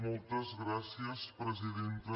moltes gràcies presidenta